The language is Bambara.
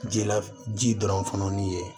Ji la ji dɔrɔn fununni ye